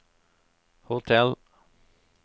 hotell